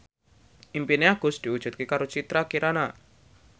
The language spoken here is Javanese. impine Agus diwujudke karo Citra Kirana